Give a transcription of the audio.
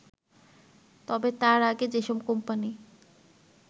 তবে তার আগে যেসব কোম্পানি